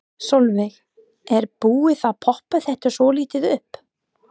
Sölvi: Er búið að poppa þetta svolítið upp?